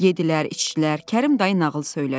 Yeddilər, içdilər, Kərim dayı nağıl söylədi.